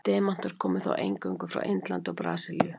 Demantar komu þá eingöngu frá Indlandi og Brasilíu.